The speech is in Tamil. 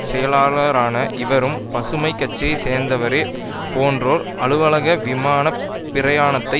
செயலாளரான இவரும் பசுமை கட்சியை சேர்ந்தவரே போன்றோர் அலுவலக விமான பிரயாணத்தை